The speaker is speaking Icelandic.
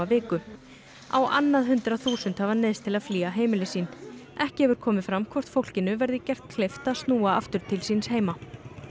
viku á annað hundrað þúsund hafa neyðst til að flýja heimili sín ekki hefur komið fram hvort fólkinu verði gert kleift að snúa aftur til síns heima